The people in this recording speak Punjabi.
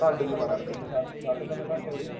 ਘਾਟੇ ਚ ਮਰਾਂਗੇ ਦੋਨੇ